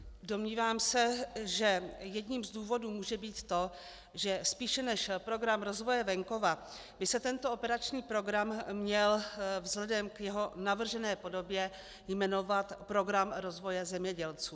Domnívám se, že jedním z důvodů může být to, že spíše než Program rozvoje venkova by se tento operační program měl vzhledem k jeho navržené podobě jmenovat Program rozvoje zemědělců.